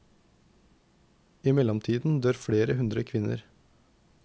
I mellomtiden dør flere hundre kvinner.